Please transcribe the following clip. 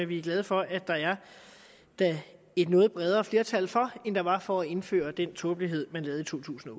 vi er glade for der er et noget bredere flertal for end der var for at indføre den tåbelighed man lavede i totusinde